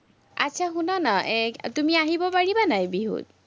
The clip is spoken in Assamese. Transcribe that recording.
আটচা শুনানা, এৰ তুমি আহিব পাৰিবা নাই, বিহুত?